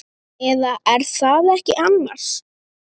Eða. er það ekki annars?